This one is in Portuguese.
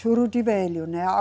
Juruti velho, né?